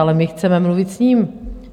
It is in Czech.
Ale my chceme mluvit s ním.